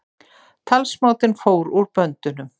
Talsmátinn fór úr böndunum